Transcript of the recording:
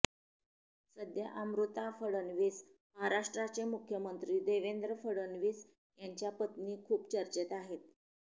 सध्या अमृता फडणवीस महाराष्ट्राचे मुख्यमंत्री देवेंद्र फडणवीस यांच्या पत्नी खूप चर्चेत आहेत